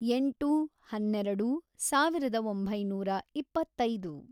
ಎಂಟು, ಹನ್ನೆರೆಡು, ಸಾವಿರದ ಒಂಬೈನೂರ ಇಪ್ಪತ್ತೈದು